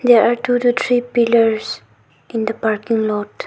There are two to three pillars in the parking lot.